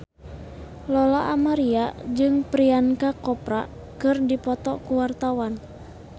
Lola Amaria jeung Priyanka Chopra keur dipoto ku wartawan